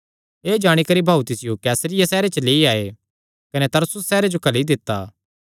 एह़ जाणी करी भाऊ तिसियो कैसरिया सैहरे च लेई आये कने तरसुस सैहरे जो घल्ली दित्ता